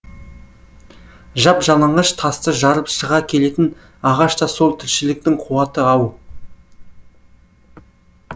жап жалаңаш тасты жарып шыға келетін ағаш та сол тіршіліктің қуаты ау